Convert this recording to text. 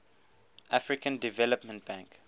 african development bank